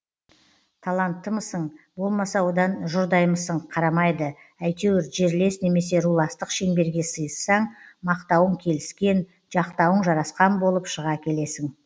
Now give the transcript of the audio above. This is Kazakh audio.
таланттымысың болмаса одан жұрдаймысың қарамайды әйтеуір жерлес немесе руластық шеңберге сыйыссаң мақтауың келіскен жақтауың жарасқан болып шыға келесің